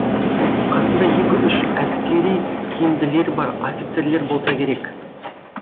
қасында екі үш әскери киімділері бар офицерлер болса керек